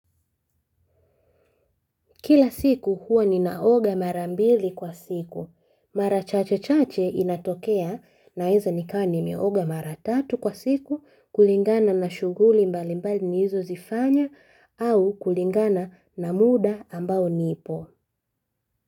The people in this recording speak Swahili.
Kila siku huwa ninaoga mara mbili kwa siku. Mara chache chache inatokea naweza nikawa nimeoga mara tatu kwa siku kulingana na shughuli mbalimbali nilizozifanya au kulingana na muda ambao nipo.